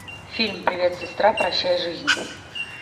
фильм привет сестра прощай жизнь